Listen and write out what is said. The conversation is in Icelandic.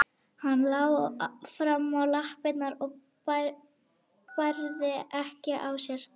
Hann lá fram á lappirnar og bærði ekki á sér.